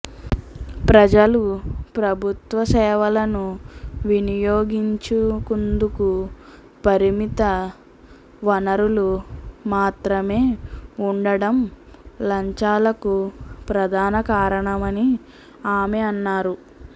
ప్రజలు ప్రభుత్వ సేవలను వినియోగించుకుందుకు పరిమిత వనరులు మాత్రమే ఉండడం లంచాలకు ప్రధాన కారణమని ఆమె అన్నారు